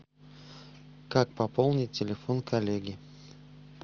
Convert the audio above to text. как пополнить телефон коллеги